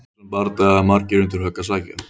Í þessum bardaga eiga margir undir högg að sækja!